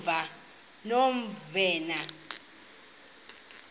novena